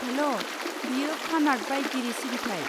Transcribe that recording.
हेल', बेयो फानार्ट बाइगिरि सिबिथाइ।